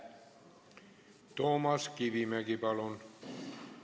Toomas Kivimägi, palun!